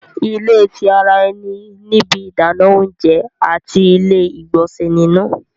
ilé tí àrà eni ní ibí Idana oúnjẹ àti ile-igbọnsẹ nínú